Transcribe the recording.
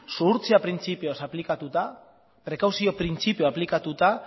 zuhurtzia printzipioaz aplikatuta prekauzio printzipioa aplikatuta